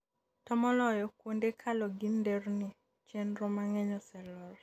to moloyo kuonde kalo gi nderni, chenro mang'eny oselor